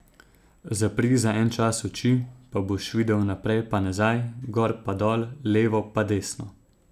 Zapri za en čas oči, pa boš videl naprej pa nazaj, gor pa dol, levo pa desno.